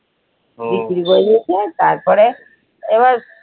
বিক্রি করে দিয়েছে তারপরে এবার